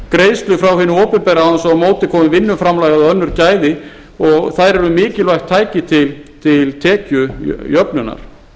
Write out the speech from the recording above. hinu opinbera án þess að á móti komi vinnuframlag eða önnur gæði og þær eru mikilvægt tæki til tekjujöfnunar